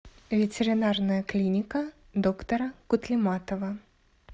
ветеринарная клиника доктора кутлиматова